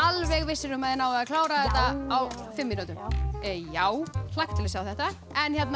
alveg vissir um að þið náið að klára þetta á fimm mínútum já hlakka til að sjá þetta en